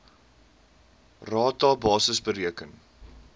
rata basis bereken